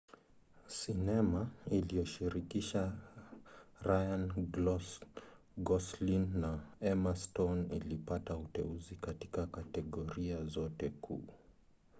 sinema iliyoshirikisha ryan gosling na emma stone ilipata uteuzi katika kategoria zote kuu